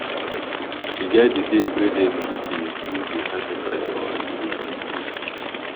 e get the days wey dem dey do the sacrifice for our village